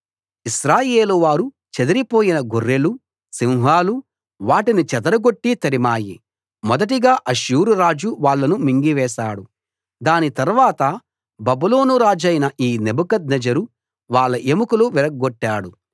ఇశ్రాయేలు వారు చెదిరిపోయిన గొర్రెలు సింహాలు వాటిని చెదరగొట్టి తరిమాయి మొదటిగా అష్షూరు రాజు వాళ్ళను మింగివేశాడు దాని తర్వాత బబులోను రాజైన ఈ నెబుకద్నెజరు వాళ్ళ ఎముకలు విరగ్గొట్టాడు